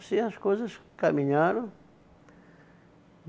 as coisas caminharam.